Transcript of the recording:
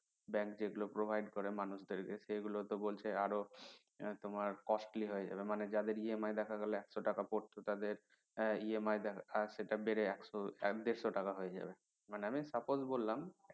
bank যেগুলো provide করে মানুষদের কে সেগুলো তো বলতে আরো তোমার costly হয়ে যাবে মানে যাদের EMI দেখা গেলো একশ টাকা পড়ত তাদের EMI দেখা সেটা বেড়ে একশ দেড়শ টাকা হয়ে যাবে মানে আমি suppose বললাম